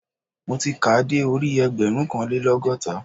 Mo ti kàá de orí ẹgbẹ̀rúnkanlélọ́gọ́ta